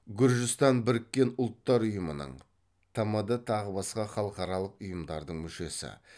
гүржістан бірікке ұлттар ұйымының тмд тағы басқа халықаралық ұйымдардың мүшесі